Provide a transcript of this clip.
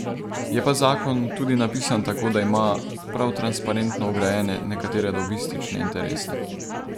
Je pa zakon tudi napisan tako, da ima prav transparentno vgrajene nekatere lobistične interese.